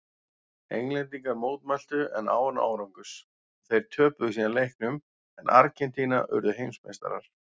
Englendingar mótmæltu en án árangurs og þeir töpuðu síðan leiknum en Argentína urðu heimsmeistarar.